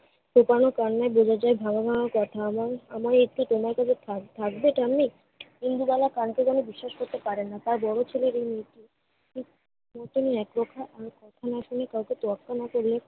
সুকর্ণের কারণে বোঝা যায় ভালো মার কথা এবং~ এবং একটু তোমার কাছে থাক~ থাকবে ঠাম্মি? ইন্দুবালা কানকে যেন বিশ্বাস করতে পারেন না। তার বড় ছেলে এবং তোয়াক্কা না করলে